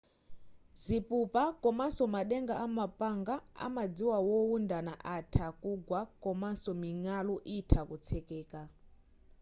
zipupa komanso madenga a mapanga amadzi wowundana atha kugwa komanso ming'alu itha kutsekeka